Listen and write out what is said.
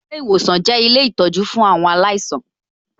Ilé ìwòsan jẹ́ ilé ìtọjú fún àwọn aláìsàn